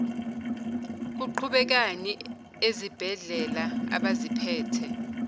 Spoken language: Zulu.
kuqhubekani ezibhedlela abaziphethe